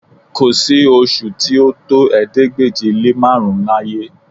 Kò sí oṣù tí ó tó ̀ẹẹ́dégbèje-lé-márùn-ún láyé